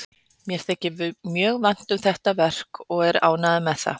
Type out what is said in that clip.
Mér þykir mjög vænt um þetta verk og er ánægður með það.